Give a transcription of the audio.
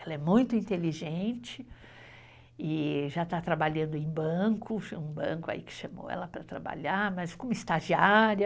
Ela é muito inteligente e já está trabalhando em banco, um banco aí que chamou ela para trabalhar, mas como estagiária.